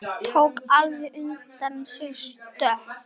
Tók alveg undir sig stökk!